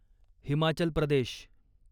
Himachal Pradesh